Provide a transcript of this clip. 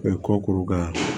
kɔkorokara